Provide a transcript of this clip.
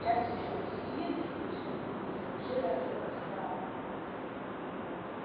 сейчас ещё и скидки ещё и есть вообще даже бесплатны вот